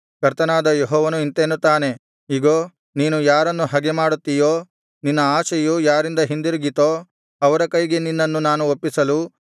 ಕರ್ತನಾದ ಯೆಹೋವನು ಇಂತೆನ್ನುತ್ತಾನೆ ಇಗೋ ನೀನು ಯಾರನ್ನು ಹಗೆಮಾಡುತ್ತೀಯೋ ನಿನ್ನ ಆಶೆಯು ಯಾರಿಂದ ಹಿಂದಿರುಗಿತೋ ಅವರ ಕೈಗೆ ನಿನ್ನನ್ನು ನಾನು ಒಪ್ಪಿಸಲು